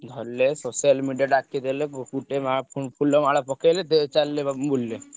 ଧରିଲେ social media ଡାକିଦେଲେ ବୋହୁତ ଫୁଲମାଳ ପକେଇଲେ ଡେ ଚାଲିଲେ ବାବୁ ବୁଲିଲେ।